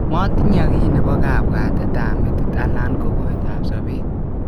Motinye ki napo kapwatet ap metit alan ko koidap sopet.